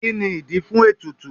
Kí ni ìdí fún ètùtù?